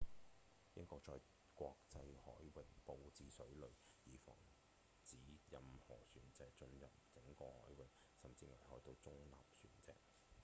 英國在國際海域布置水雷以防止任何船隻進入整個海域甚至危害到中立船隻